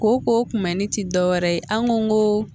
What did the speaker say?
Kooko kunbɛnni ti dɔ wɛrɛ ye an go ko